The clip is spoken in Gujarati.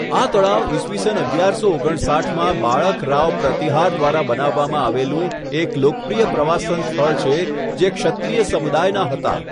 આ તળાવ ઈસ અગિયારસો ઓગણસાઠમાં બાળક રાવ પ્રતિહાર દ્વારા બનાવવામાં આવેલું એક લોકપ્રિય પ્રવાસન સ્થળ છે, જે ક્ષત્રિય સમુદાયના છે.